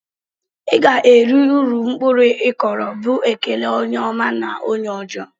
"Iga eri uru mkpụrụ ikụrụ" bu ekele onye ọma na onye ọjọ.